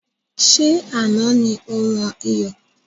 Ṣé Àná ni ó wọn iyọ̀?